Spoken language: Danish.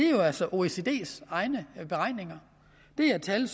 jo altså oecds egne beregninger det er tal